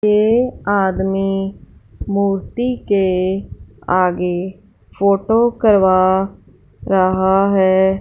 ये आदमी मूर्ति के आगे फोटो करवा रहा है।